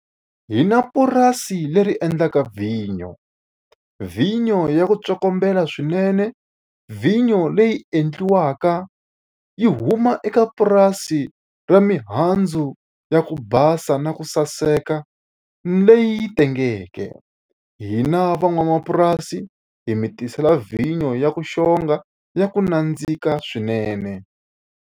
Hi na purasi leri endlaka vhinyo. Vinyo ya ku tsokombela swinene, vhinyo leyi endliwaka yi huma eka purasi ra mihandzu ya ku basa na ku saseka leyi tengeke. Hina van'wamapurasi hi mi tisela vhinyo ya ku xonga, ya ku nandzika swinene.